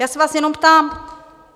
Já se vás jenom ptám.